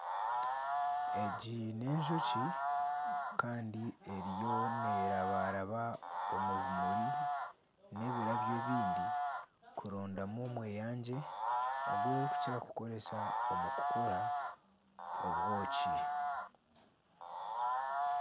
Egi n'enjoki kandi eriyo nerabaraba omu bimuri n'ebirabyo ebindi kurondamu omweyangye ogw'erikukira kukozesa omu kukora obwoki.